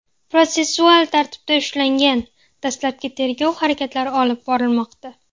protsessual tartibda ushlangan, dastlabki tergov harakatlari olib borilmoqda.